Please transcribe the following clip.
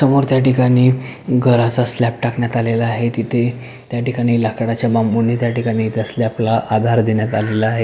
समोर त्या ठिकाणी घराचा स्लॅप टाकण्यात आला आहे तिथे त्या ठिकाणी लाकडाच्या बांबुनी त्या ठिकाणी स्लॅपला आधार देण्यात आला आहे.